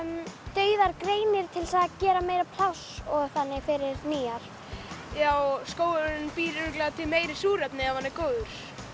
dauðar greinar til að gera meira pláss og þannig fyrir nýjar já skógurinn býr örugglega til meira súrefni ef hann er góður